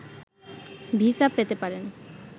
visa পেতে পারেন